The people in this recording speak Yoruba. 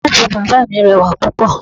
Koopu bàbá mi rẹwà púpọ̀.